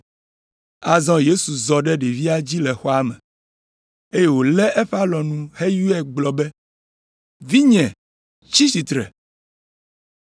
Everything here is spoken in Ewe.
Azɔ Yesu zɔ ɖe ɖevia dzi le xɔa me, eye wòlé eƒe alɔnu heyɔe gblɔ be, “Vinye tsi tsitre.”